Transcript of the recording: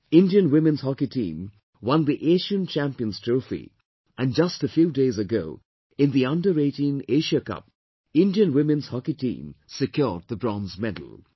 Indian Women's Hockey Team won the Asian Champions Trophy and just a few days ago in the under18 Asia Cup, Indian Women's Hockey Team secured the Bronze Medal